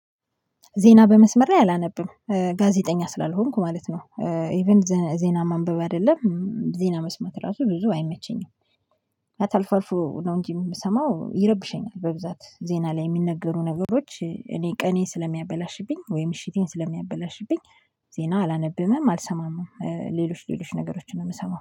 ዜና በመስመር አላነብም ጋዜጠኛ ስላልሆንኩ ማለት ነው ኢቭን ዜና ማንበብ አይደለም። ዜና መስማት ራሱ ብዙ አይመቸኝም። ማታ አልፍ አልፎ ነው እንጂ የምሰማው ይረብሸኛል በብዛት ዜና ላይ የሚነገሩ ነገሮች እኔ ቀኔን ስለሚያበላሽብኝ ወይም ምሽቴን ስለሚያበላሽብኝ። ዜና አላነበምም አልሰማምም ሌሎች ሌሎች ነገሮችን ነው የምሰማው